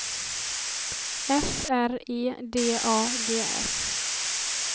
F R E D A G S